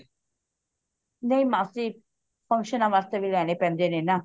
ਨਹੀਂ ਮਾਸੀ function ਨਾ ਵਾਸਤੇ ਵੀ ਲੈਣੇ ਪੈਂਦੇ ਨੇ ਨਾ